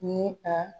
Ni a